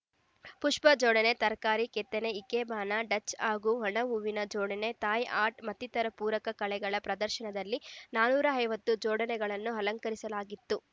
ಪುಷ್ಪ ಜೋಡಣೆ ತರಕಾರಿ ಕೆತ್ತನೆ ಇಕೆಬಾನ ಡಚ್‌ ಹಾಗೂ ಒಣ ಹೂವಿನ ಜೋಡಣೆ ಥಾಯ್‌ ಆರ್ಟ್‌ ಮತ್ತಿತರ ಪೂರಕ ಕಲೆಗಳ ಪ್ರದರ್ಶನದಲ್ಲಿ ನಾನೂರ ಐವತ್ತು ಜೋಡಣೆಗಳನ್ನು ಅಲಂಕರಿಸಲಾಗಿತ್ತು